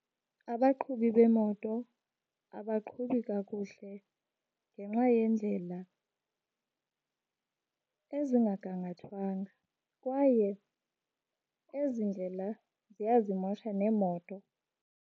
Abaqhubi beemoto abaqhubi kakuhle ngenxa yeendlela ezingagangathwanga, kwaye ezi ndlela ziyazimosha neemoto.